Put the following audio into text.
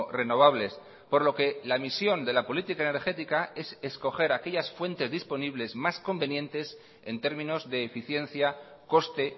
renovables por lo que la misión de la política energética es escoger aquellas fuentes disponibles más convenientes en términos de eficiencia coste